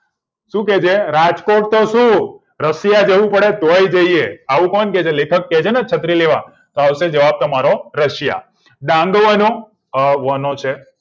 શું કે છે રાજકોટ તો શું rasiya જવું પડે ને તો પણ જઈએ આવું કોણ કે છે લેખક કે છેને છત્રી લેવા આવશે જવાબ તમારો rasiya દાન્દુઓનું અ બ છે